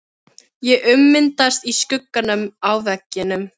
Ég ummyndast í skuggana á veggjunum.